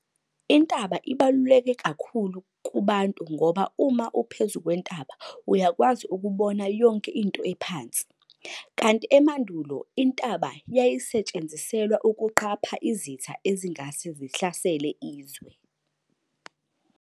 Intaba ibaluleke kakhulu kubantu ngoba uma uphezu kwentaba uyakwazi ukubona yonke into ephansi, kanti emandulo intaba yayisetshenziselwa ukuqapha izitha ezingase zihlasele isizwe.